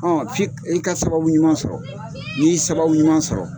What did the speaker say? Ɔ fi ka sababu ɲuman sɔrɔ ni y'i sababu ɲuman sɔrɔ.